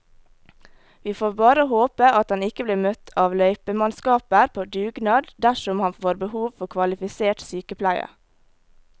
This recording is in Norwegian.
Vi får bare håpe at han ikke blir møtt av løypemannskaper på dugnad dersom han får behov for kvalifisert sykepleie.